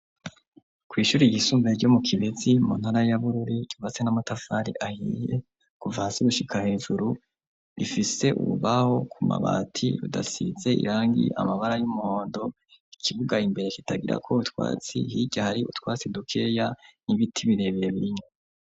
Kw'ishuri igisumvae ryo mu kibezi muntara yabururi givatse n'amatafari ahiye kuva ahasi gushika hejuru rifise ububaho ku mabati udasize irangi amabara y'umondo ikibugaye imbere kitagira ko butwatsi higa hari utwatsi dukeya n'ibiti birebere birinye.